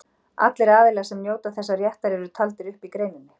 Allir aðilar sem njóta þessa réttar eru taldir upp í greininni.